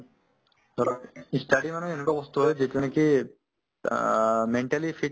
ধৰক ই study মানে যোনতো বস্তু হয় যিটো নেকি আ mentally fit